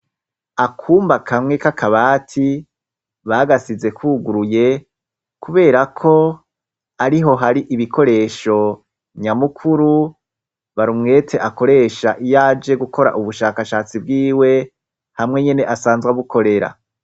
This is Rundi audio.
Akumba kamwe k'akabati bagasize kwuguruye, kubera ko ari ho hari ibikoresho nyamukuru barumwete akoresha iyaje gukora ubushakashatsi bwiwe hamwe nyene asanzwa bukorera.